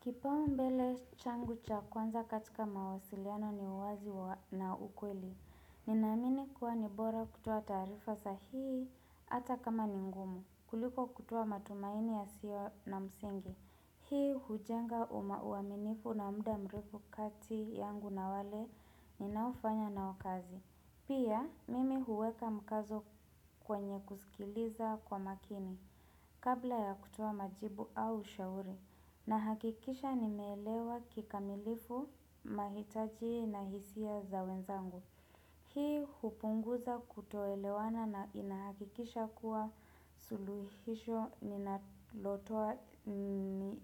Kipaombele changu cha kwanza katika mawasiliano ni uwazi na ukweli. Ninaamini kuwa nibora kutoa taarifa sahihi hata kama ningumu. Kuliko kutoa matumaini ya siyo na msingi. Hii hujenga uaminifu na muda mrefu kati yangu na wale ninaofanya nao kazi. Pia mimi huweka mkazo kwenye kusikiliza kwa makini kabla ya kutoa majibu au ushauri. Na hakikisha ni meelewa kikamilifu, mahitaji na hisia za wenzangu. Hii hupunguza kutoelewana na inahakikisha kuwa suluhisho ni nalotoa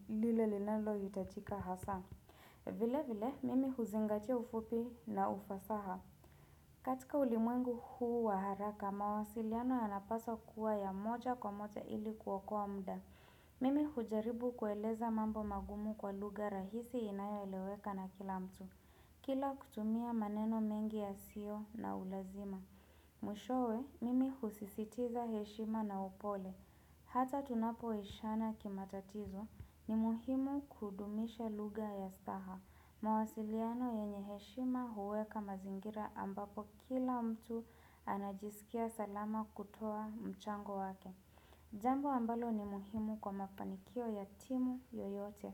lile linalo hitajika hasa. Vile vile mimi huzingatia ufupi na ufasaha. Katika ulimwengu huu waharaka mawasiliano yanapaswa kuwa ya moja kwa moja ili koouokoa muda. Mimi hujaribu kueleza mambo magumu kwa lugha rahisi inayo eleweka na kila mtu Kila kutumia maneno mengi ya siyo na ulazima Mwishowe, mimi husisitiza heshima na upole Hata tunapo ishana kimatatizo, ni muhimu kudumisha lugha ya staha mawasiliano yenye heshima huweka mazingira ambapo kila mtu anajisikia salama kutoa mchango wake Jambo ambalo ni muhimu kwa mafanikio ya timu yoyote.